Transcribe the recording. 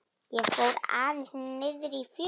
Ég fór aðeins niðrí fjöru.